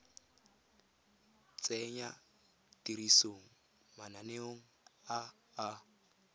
tsenya tirisong mananeo a a